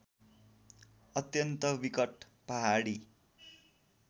अत्यन्त विकट पहाडी